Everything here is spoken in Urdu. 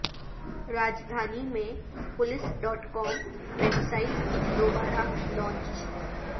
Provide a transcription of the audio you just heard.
راجدھانی میں police dot com website دوبارہ لانچ